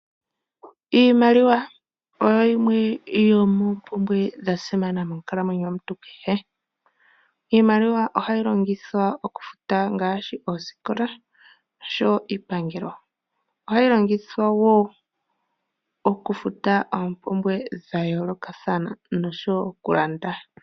Iimaliwa oyo yimwe yomoo mpumbwe dhasimana monkalamwenyo yomuntu kehe. Iimaliwa ohayi longithwa okufuta ngaashi osikola nosho woo iipangelo, ohayi longithwa woo okufuta oompumbwe dha yoolokathana nokulanda.